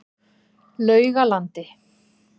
Laugalandi